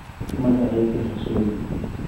Magacayga ha sheegin